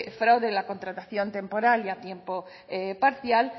fraude en la contratación temporal y a tiempo parcial